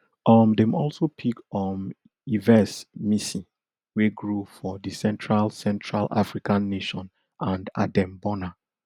um dem also pick um yves missi wey grow for di central central african nation and adem bona